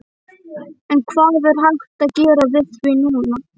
En hvað er hægt að gera við því núna?